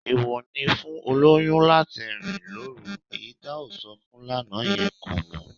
Èèwọ̀ ni fún olóyún láti rìn lóru, èyí tá sọ fún lánàá yẹn kò mọ